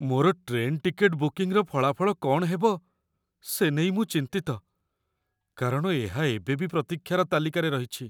ମୋର train ticket ବୁକିଂର ଫଳାଫଳ କ'ଣ ହେବ, ସେ ନେଇ ମୁଁ ଚିନ୍ତିତ, କାରଣ ଏହା ଏବେ ବି ପ୍ରତୀକ୍ଷା ତାଲିକାରେ ରହିଛି।